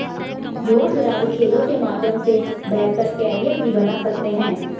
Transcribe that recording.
युवा खिलाड़ी खेलों के माध्यम से बेहतर कैरियर भी बना सकते हैं